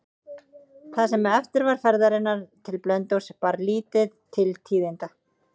Það sem eftir var ferðarinnar til Blönduóss bar lítið til tíðinda.